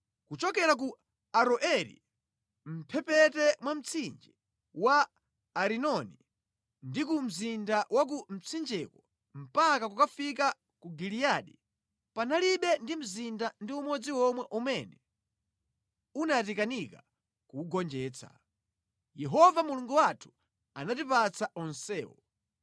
Kuchokera ku Aroeri mʼmphepete mwa mtsinje wa Arinoni ndi ku mzinda wa ku mtsinjeko mpaka kukafika ku Giliyadi, panalibe ndi mzinda ndi umodzi omwe umene unatikanika kuwugonjetsa. Yehova Mulungu wathu anatipatsa onsewo.